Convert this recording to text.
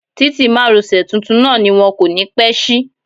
Títì márosẹ̀ tuntun náà ni wón kò ní pẹ́ ṣí.